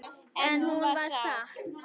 En hún var sátt.